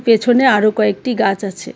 পেছনে আরো কয়েকটি গাছ আছে।